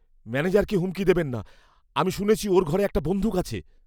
ম্যানেজারকে হুমকি দেবেন না। আমি শুনেছি ওঁর ঘরে একটা বন্দুক আছে।